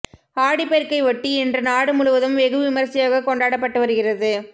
ஆடி பெருக்கை ஒட்டி இன்று நாடு முழுவதும் வெகு விமரிசையாக கொண்டாடப்பட்டு வருகிறது